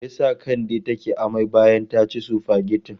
Me ya sa Kande take amai bayan ta ci sufagetin?